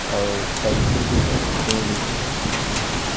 और पेंसिल भी है पेन भी है।